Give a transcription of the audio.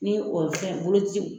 Ni o fɛn bolociw